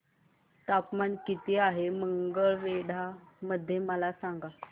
तापमान किती आहे मंगळवेढा मध्ये मला सांगा